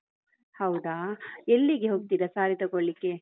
ಹೌದಾ ಎಲ್ಲಿಗೆ ಹೋಗ್ತೀರ saree ತೊಗೊಳ್ಳಿಕ್ಕೆ?